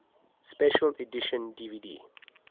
special edition dvd